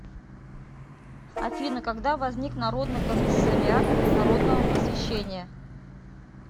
афина когда возник народный комиссариат народного просвещения